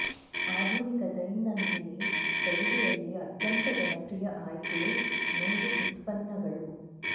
ಆಧುನಿಕ ದೈನಂದಿನ ಶೈಲಿಯಲ್ಲಿ ಅತ್ಯಂತ ಜನಪ್ರಿಯ ಆಯ್ಕೆ ನೂಲು ಉತ್ಪನ್ನಗಳು